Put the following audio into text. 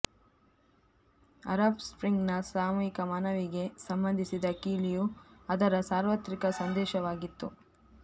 Arab ಸ್ಪ್ರಿಂಗ್ನ ಸಾಮೂಹಿಕ ಮನವಿಗೆ ಸಂಬಂಧಿಸಿದ ಕೀಲಿಯು ಅದರ ಸಾರ್ವತ್ರಿಕ ಸಂದೇಶವಾಗಿತ್ತು